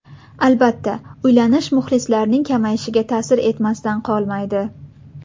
Albatta, uylanish muxlislarning kamayishiga ta’sir etmasdan qolmaydi.